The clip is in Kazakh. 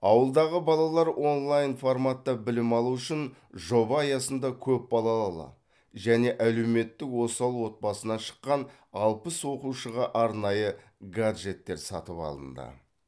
ауылдағы балалар онлайн форматта білім алу үшін жоба аясында көпбалалалы және әлеуметтік осал отбасыдан шыққан алпыс оқушыға арнайы гаджеттер сатып алынды